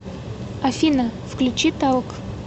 афина включи талк